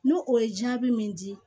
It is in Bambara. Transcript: N'o o ye jaabi min di